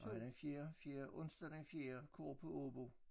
Nej den fjerde fjerde onsdag den fjerde kor på Aabo